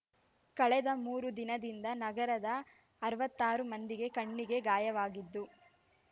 ಕಳೆದ ಮೂರು ದಿನದಿಂದ ನಗರದ ಅರವತ್ತಾರು ಮಂದಿಗೆ ಕಣ್ಣಿಗೆ ಗಾಯವಾಗಿದ್ದು